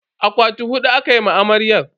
Akwati hudu aka ma amarya.